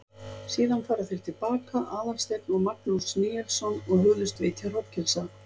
Síðan fara þeir til baka, Aðalsteinn og Magnús Níelsson, og hugðust vitja hrognkelsa.